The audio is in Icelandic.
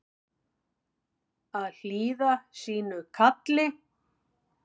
Að hlýða sínu kalli